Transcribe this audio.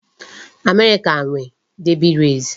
America nwe Derby race